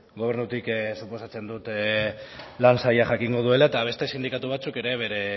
gobernutik suposatzen dut lan sailak jakingo duela eta beste sindikatu batzuk ere bere